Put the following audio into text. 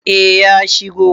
eh ya shigo